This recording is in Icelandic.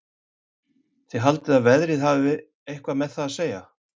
Haldið þið að veðrið hafi eitthvað með það að segja?